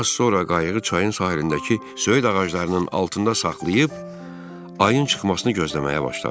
Az sonra qayığı çayın sahilindəki söyüd ağaclarının altında saxlayıb ayın çıxmasını gözləməyə başladım.